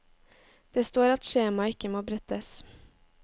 Det står at skjemaet ikke må brettes.